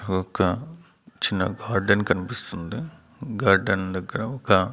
ఒక చిన్న గార్డెన్ కనిపిస్తుంది గార్డెన్ దగ్గర ఒక.